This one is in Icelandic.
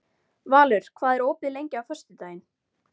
Valur, hvað er opið lengi á föstudaginn?